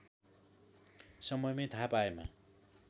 समयमै थाहा पाएमा